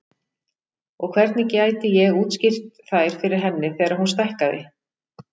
Og hvernig gæti ég útskýrt þær fyrir henni þegar hún stækkaði?